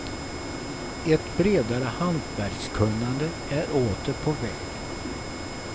Ett bredare hantverkskunnande är åter på väg.